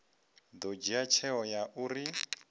ḓo dzhia tsheo ya uri